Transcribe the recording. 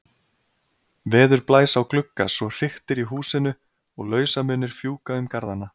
Veður blæs á glugga svo hriktir í húsinu og lausamunir fjúka um garðana.